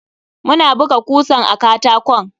Ina buga kusan a katakon.